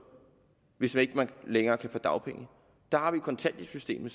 hvis man ikke længere kan få dagpenge der har vi kontanthjælpssystemet